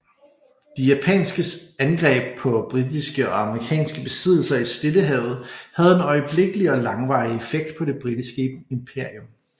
De japanske angreb på britiske og amerikanske besiddelser i Stillehavet havde en øjeblikkelig og langvarig effekt på det britiske imperium